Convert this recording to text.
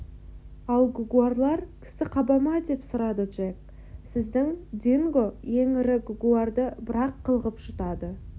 ал гугуарлар кісі қаба ма деп сұрады джек сіздің динго ең ірі гугуарды бір-ақ қылғып жұтады